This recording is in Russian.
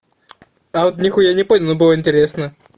а вот ни хуя не понял но было интересно